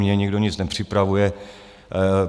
Mně nikdo nic nepřipravuje.